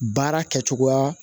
Baara kɛcogoya